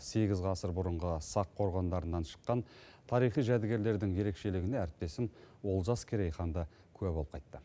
сегіз ғасыр бұрынғы сақ қорғандарынан шыққан тарихи жәдігерлердің ерекшелігіне әріптесім олжас керейхан да куә болып қайтты